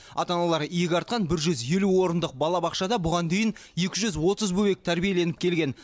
ата аналар иек артқан бір жүз елу орындық балабақшада бұған дейін екі жүз отыз бөбек тәрбиеленіп келген